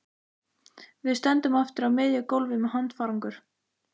Við stöndum aftur á miðju gólfi með handfarangur.